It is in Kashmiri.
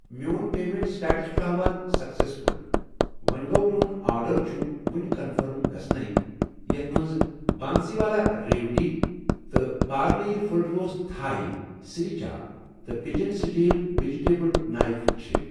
میٚون پیمیٚنٹ سٹیٹس چھ ہاوان سیکسیسفُل، وۄنۍ گومیٚون آرڈر چھ وُنہِ کنفٔرم گژھنٔی یتھ مَنٛز بنسیٖوالا ریوڈی تہٕ Parle full toss Thai sriracha تہٕ پِجن سٹیٖل وِجِٹیبل نایف چھِ۔